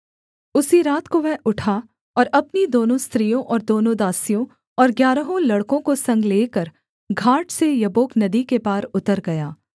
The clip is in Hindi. उसी रात को वह उठा और अपनी दोनों स्त्रियों और दोनों दासियों और ग्यारहों लड़कों को संग लेकर घाट से यब्बोक नदी के पार उतर गया